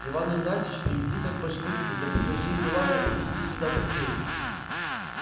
иван игнатьич приведи-ка башкирца да прикажи юлаю принести сюда плетей